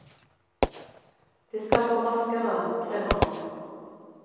Det skal gå raskere, krever man.